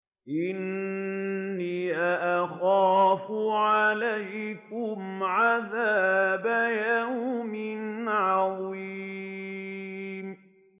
إِنِّي أَخَافُ عَلَيْكُمْ عَذَابَ يَوْمٍ عَظِيمٍ